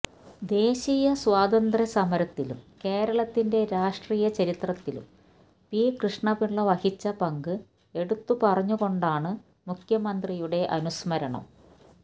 ദേശീയസ്വാതന്ത്ര്യ സമരത്തിലും കേരളത്തിന്റെ രാഷ്ട്രീയ ചരിത്രത്തിലും പി കൃഷ്ണപിള്ള വഹിച്ച പങ്ക് എടുത്ത് പറഞ്ഞുകൊണ്ടാണ് മുഖ്യമന്ത്രിയുടെ അനുസ്മരണം